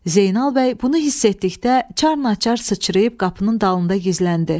Zeynal bəy bunu hiss etdikdə çar-naçar sıçrayıb qapının dalında gizləndi.